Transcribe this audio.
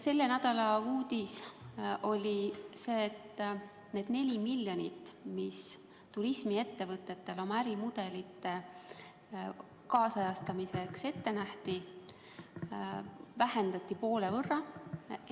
Selle nädala uudis oli see, et need 4 miljonit, mis turismiettevõtetele oma ärimudelite kaasajastamiseks ette oli nähtud, vähenesid EAS-is poole võrra.